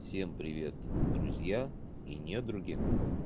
всем привет друзья и недруги